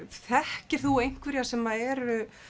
þekkir þú einhverja sem eru